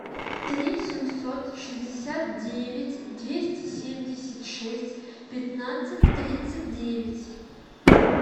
три семьсот шестьдесят девять двести семьдесят шесть пятнадцать тридцать девять